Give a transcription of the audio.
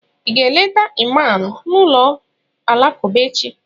ị ga-eleta ịman n'ụlọ alakụba echi?